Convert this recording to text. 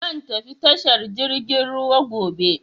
Zan tafi tashar jirgin ruwa gobe.